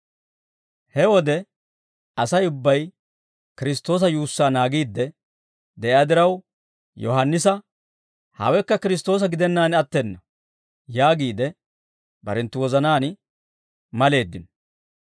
He wode Asay ubbay Kiristtoosa yuussaa naagiidde de'iyaa diraw Yohaannisa, «Hawekka Kiristtoosa gidennaan attena» yaagiide barenttu wozanaan maleeddino.